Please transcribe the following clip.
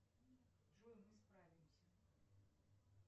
джой мы справимся